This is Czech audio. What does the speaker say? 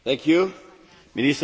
Děkuji za ocenění